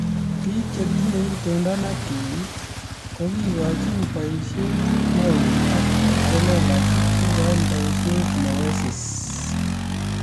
Piik che tinye itondo ne tui ko kekoini boishet ne ui ak piik chelelach kekoini boishet ne wesisi